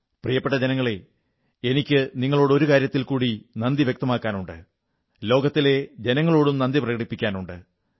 പ്രിയപ്പെട്ട ജനങ്ങളേ എനിക്ക് നിങ്ങളോട് ഒരു കാര്യത്തിൽ കൂടി നന്ദി വ്യക്തമാക്കാനുണ്ട് ലോകത്തിലെ ജനങ്ങളോടും നന്ദി പ്രകടിപ്പിക്കാനുണ്ട്